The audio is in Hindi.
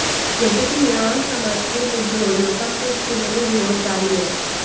यद्यपि ईरान समर्थित विद्रोहियों का कुछ जिलों में विरोध जारी है